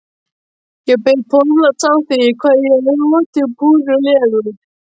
Ég bið forláts á því hvað ég er rotinpúrulegur.